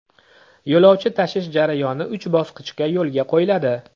Yo‘lovchi tashish jarayoni uch bosqichda yo‘lga qo‘yiladi.